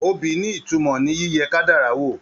Obì ní ìtumọ̀ ní yíyẹ kádàrá wò.